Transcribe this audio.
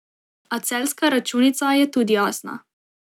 A celjska računica je tudi jasna.